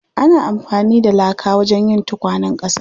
Ana amfani da laka wajen yin tukwanen ƙasa.